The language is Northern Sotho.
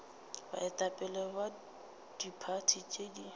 baetapele ba diphathi tše di